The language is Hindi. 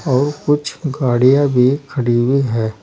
और कुछ गाड़ियां भी खड़ी हुई है।